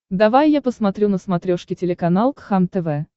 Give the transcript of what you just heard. давай я посмотрю на смотрешке телеканал кхлм тв